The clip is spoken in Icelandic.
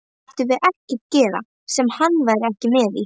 Mættum við ekkert gera sem hann væri ekki með í?